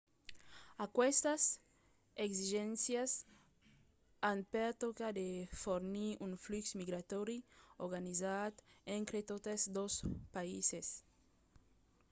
aquestas exigéncias an per tòca de fornir un flux migratòri organizat entre totes dos païses